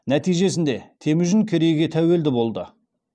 моңғолдар хансыз қайтіп болады депті